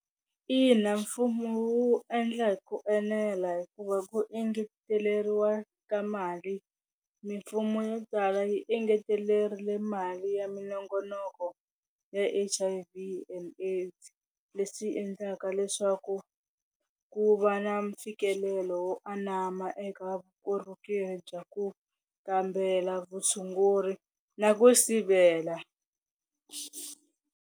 Ina mfumo wu endla hi ku enela hikuva ku engeteleriwa ka mali mimfumo yo tala yi engetelerile mali ya minongonoko ya H_I_V and AIDS leswi endlaka leswaku ku va na mfikelelo wo anama eka vukorhokeri bya ku kambela vutshunguri na ku sivela.